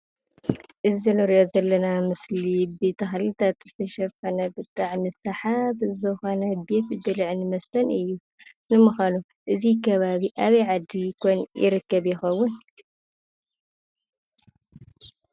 እዚ እንሪኦ ዘለና ምስሊ ብተክልታት ዝተሸፈነ ብጣዕሚ ሳሓቢ ዝኮነ ቤት ብልዕን መስተን እዩ፡፡ ንምኳኑ እዚ ከባቢ ኣበይ ዓዲ ኮን ይርከብ ይከውን?